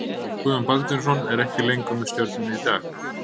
Guðjón Baldvinsson er ekki með Stjörnunni í dag.